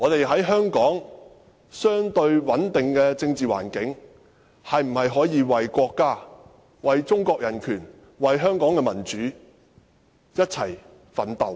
香港的政治環境相對穩定，我可否為國家、為中國的人權及為香港的民主一起奮鬥？